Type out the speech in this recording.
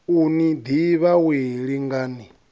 u ni ḓivha wee lingani